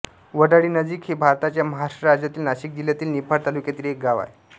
वडाळीनजीक हे भारताच्या महाराष्ट्र राज्यातील नाशिक जिल्ह्यातील निफाड तालुक्यातील एक गाव आहे